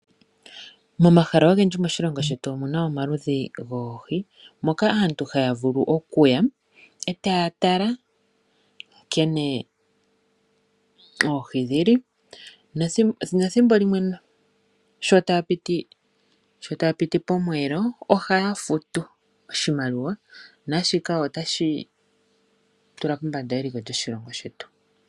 Momahala ogendji moshilongo shetu omu na omaludhi goohi moka aantu haya vulu oku ya e taya tala nkene oohi dhili nethimbo limwe sho taya piti pomweelo ohaya futu oshimaliwa naashika otashi tula eliko lyoshilongo shetu pombanda.